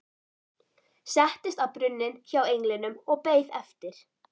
Settist á brunninn hjá englinum og beið eftir